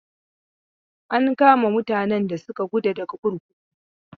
An kama mutanen da suka guda daga kurkuku.